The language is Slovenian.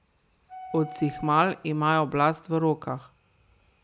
Odsihmal imajo oblast v rokah.